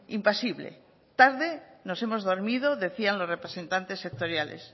impasible tarde nos hemos dormido decían los representantes sectoriales